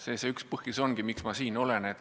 See ongi üks põhjus, miks ma siin olen.